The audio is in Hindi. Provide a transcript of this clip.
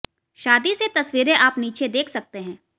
शादी से तस्वीरें आप नीचे देख सकते हैं